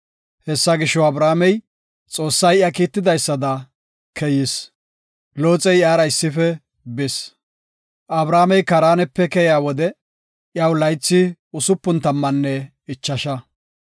Hessa gisho, Abramey Xoossay iya kiitidaysada keyis. Looxey iyara issife bis. Abramey Kaaranepe keyiya wode iyaw laythi laapun tammanne ichasha.